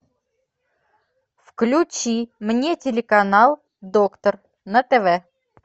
включи мне телеканал доктор на тв